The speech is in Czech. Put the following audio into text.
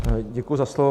Děkuji za slovo.